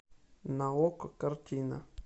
на окко картина